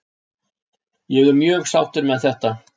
Ég er mjög sáttur með þetta.